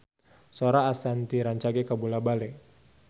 Sora Ashanti rancage kabula-bale